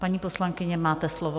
Paní poslankyně, máte slovo.